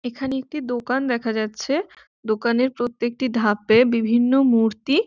এখানে একটি দোকান দেখা যাচ্ছে দোকানের প্রত্যেকটি ধাপে বিভিন্ন মূর্তি।